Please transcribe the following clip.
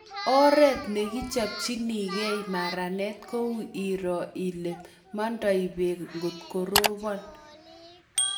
Oret nekichopchinegei maranet kou iroo ile mandoi beek ngot korobon